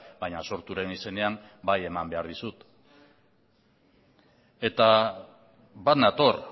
baina sorturen izenean bai eman behar dizut eta bat nator